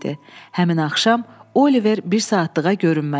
Həmin axşam Oliver bir saatlığa görünmədi.